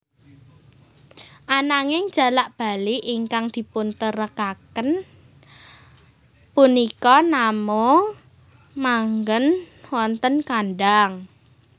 Ananging jalak bali ingkang dipuntengkaraken punika namung manggèn wonten kandhang